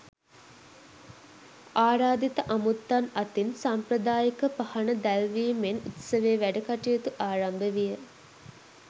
ආරාධිත අමුත්තන් අතින් සම්ප්‍රදායික පහන දැල්වීමෙන් උත්සවයේ වැඩ කටයුතු ආරම්භ විය.